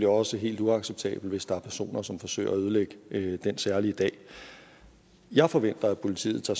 også helt uacceptabelt hvis der er personer som forsøger at ødelægge den særlige dag jeg forventer at politiet tager